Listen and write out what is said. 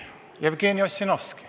Jevgeni Ossinovski.